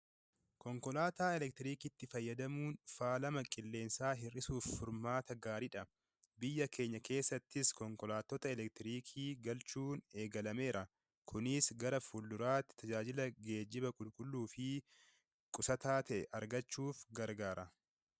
Konkolaataa elektirikiitti fayyadamuun faalama qilleensaa hir'isuuf, furmaata gaaridha. Biyya Keenya keesaattis konkolaattota elektirikii galchuun eegalameera. Kunis gara fulduraatiin tajaajila geejjiba qulqulluu fi qusataa ta'e argachuuf gargaara.